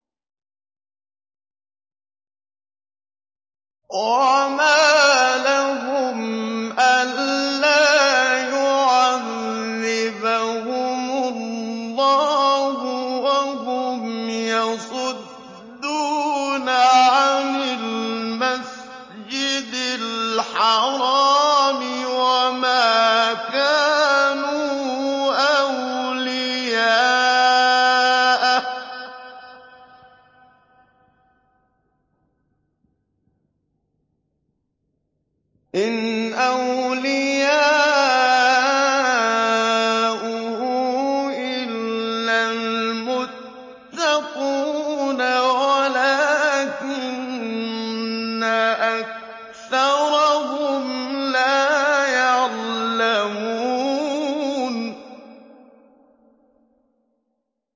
وَمَا لَهُمْ أَلَّا يُعَذِّبَهُمُ اللَّهُ وَهُمْ يَصُدُّونَ عَنِ الْمَسْجِدِ الْحَرَامِ وَمَا كَانُوا أَوْلِيَاءَهُ ۚ إِنْ أَوْلِيَاؤُهُ إِلَّا الْمُتَّقُونَ وَلَٰكِنَّ أَكْثَرَهُمْ لَا يَعْلَمُونَ